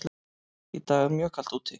Í dag er mjög kalt úti.